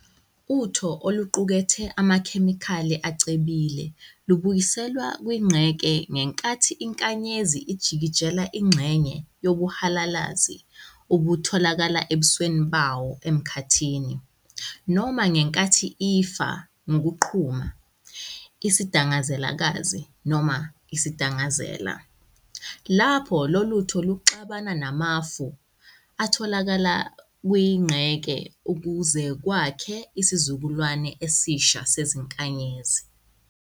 UTho oluqukethe amaKhemikhali acebile lubuyiselwa kwinqeke ngenkathi iNkanyezi ijikijela ingxhenye yobuhalalazi obutholakala ebusweni bayo emKhathini, noma ngenkathi ifa ngokuqhuma, IsiDangazelakazi noma isiDangazela, lpho loluTho luxubana namafu atholakala kwinqeke ukuzekwakhe isizukulwane esisha seziNkanyezi.